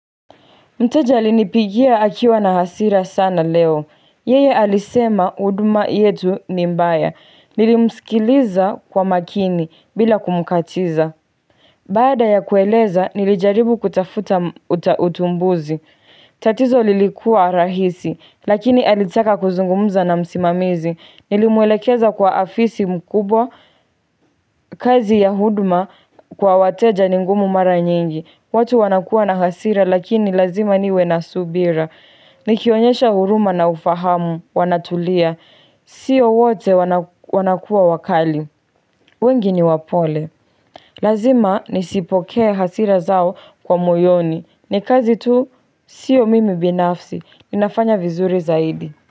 Mteja alinipigia akiwa na hasira sana leo. Yeye alisema huduma yetu ni mbaya. Nilimsikiliza kwa makini bila kumkatiza. Baada ya kueleza, nilijaribu kutafuta utumbuzi. Tatizo lilikua rahisi, lakini alitaka kuzungumza na msimamizi. Nilimwelekeza kwa afisi mkubwa, kazi ya huduma kwa wateja ni ngumu mara nyingi. Watu wanakuwa na hasira lakini lazima niwe na subira. Nikionyesha huruma na ufahamu, wanatulia. Sio wote wanakuwa wakali. Wengi ni wapole. Lazima nisipokee hasira zao kwa moyoni. Ni kazi tu sio mimi binafsi. Ninafanya vizuri zaidi.